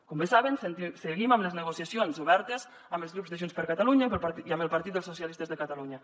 com bé saben seguim amb les negociacions obertes amb els grups de junts per catalunya i amb el partit dels socialistes de catalunya